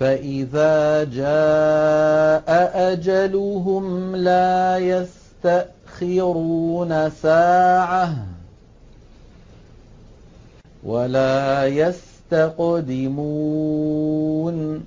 فَإِذَا جَاءَ أَجَلُهُمْ لَا يَسْتَأْخِرُونَ سَاعَةً ۖ وَلَا يَسْتَقْدِمُونَ